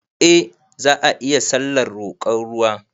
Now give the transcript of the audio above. Eh za ayi sallar roƙon ruwa